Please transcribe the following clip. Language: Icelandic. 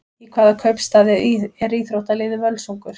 Í hvaða kaupstað er íþróttaliðið Völsungur?